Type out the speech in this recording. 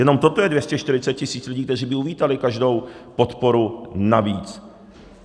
Jenom toto je 240 tisíc lidí, kteří by uvítali každou podporu navíc.